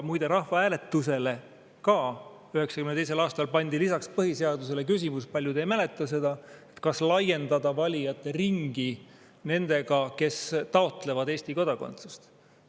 Muide, 1992. aastal pandi lisaks põhiseadusele rahvahääletusele küsimus – paljud ei mäleta seda –, kas laiendada valijate ringi nendega, kes taotlevad Eesti kodakondsust.